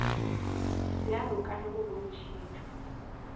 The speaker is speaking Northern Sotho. bjalo ka ge go bontšhitšwe